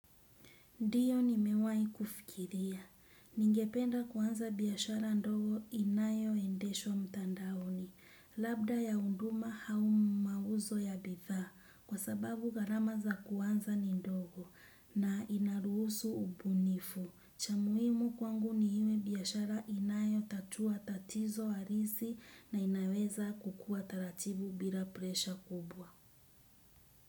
Ndio nimewahi kufikiria. Ningependa kuanza biashara ndogo inayoendeshwa mtandaoni. Labda ya huduma au mauzo ya bidhaa kwa sababu gharama za kuanza ni ndogo na inaruhusu ubunifu. Cha muhimu kwangu ni iwe biashara inayotatua tatizo halisi na inaweza kukua taratibu bila presha kubwa.